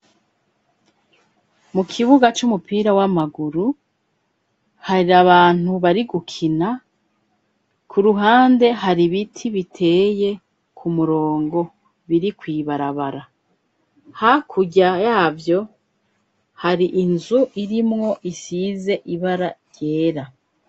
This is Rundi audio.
Mu kibuga c'umupira w'amaguru, hari abantu bari gukina, ku ruhande har'ibiti biteye ku murongo biri kw'barabara. Hakurya yavyo har'inzu irimwo isize ibara ryera.